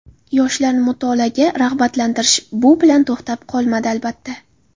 Yoshlarni mutolaaga rag‘batlantirish bu bilan to‘xtab qolmadi, albatta.